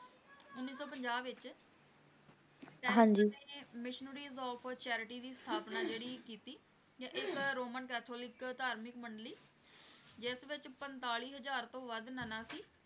ਉੱਨੀ ਸੌ ਪੰਜਾਹ ਵਿਚ missionaries of charity ਦੀ ਸਥਾਪਨਾ ਜਿਹੜੀ ਕੀਤੀ ਤੇ ਇੱਕ Roman Catholic ਧਾਰਮਿਕ ਮੰਡਲੀ ਜਿਸ ਵਿਚ ਪੰਤਾਲੀ ਹਜਾਰ ਤੋਂ ਵੱਧ ਨਨਾ ਸੀ